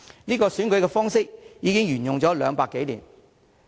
這個選舉方式已經沿用200多年。